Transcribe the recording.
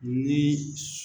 Ni su